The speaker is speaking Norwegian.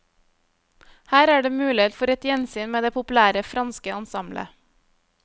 Her er det mulighet for et gjensyn med det populære franske ensemblet.